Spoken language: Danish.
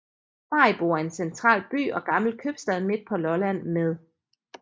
Maribo er en central by og gammel købstad midt på Lolland med